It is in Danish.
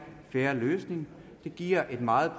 fair løsning giver et meget